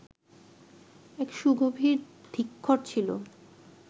এক সুগভীর ধিক্ষর ছিল।